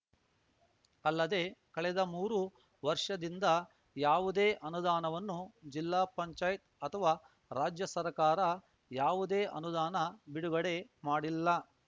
ಅಲ್ಲದೆ ಕಳೆದ ಮೂರು ವರ್ಷದಿಂದ ಯಾವುದೆ ಅನುದಾನವನ್ನು ಜಿಲ್ಲಾ ಪಂಚಾಯತ್ ಅಥವಾ ರಾಜ್ಯ ಸರಕಾರ ಯಾವುದೆ ಅನುದಾನ ಬಿಡುಗಡೆ ಮಾಡಿಲ್ಲ